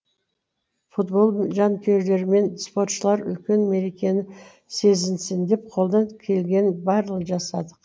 футбол жанкүйерлері мен спортшылар үлкен мерекені сезінсін деп қолдан келгеннің барлығын жасадық